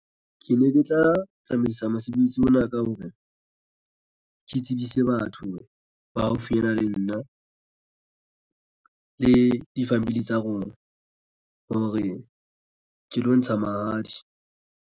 Ke ne ke tla tsamaisa mosebetsi ona ka hore ke tsebise batho ba haufinyana le nna le di-family tsa rona hore ke lo ntsha mahadi.